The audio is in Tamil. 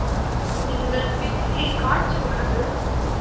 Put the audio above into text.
நீங்கள் பெரிய காட்சி உள்ளது